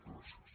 gràcies